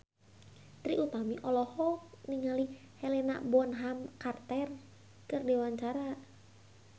Trie Utami olohok ningali Helena Bonham Carter keur diwawancara